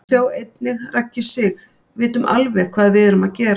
Sjá einnig: Raggi Sig: Vitum alveg hvað við erum að gera